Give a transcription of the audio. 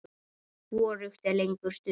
Hvorugt er lengur stutt.